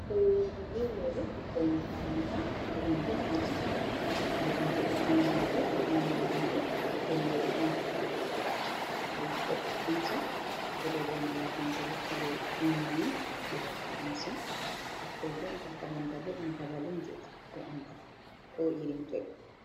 Ɓukkoi worɓe be roɓɓe ɓikkon makaranta ɓe ɗon nder aji mallumjo ɗo jangina be o ƴami ɓe hunde den bo ɓe ɓamti juɗe ɓe pat haɓe hokka amsa ɓe ɗo reina malum jo hokka ɓe umurni ɓe hokka amsa, ɓikkoi be bo makaranta ɗum babal on je ɗaɓɓutuggo andal ko irin toi.